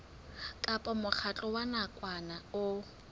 kapa mokgatlo wa nakwana o